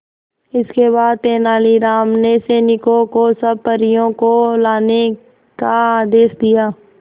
इसके बाद तेलानी राम ने सैनिकों को सब परियों को लाने का आदेश दिया